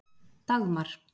Dagmar